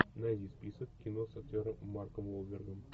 найди список кино с актером марком уолбергом